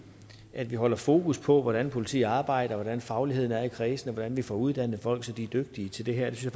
i at vi holder fokus på hvordan politiet arbejder hvordan fagligheden er i kredsene hvordan vi får uddannet folk så de er dygtige til det her det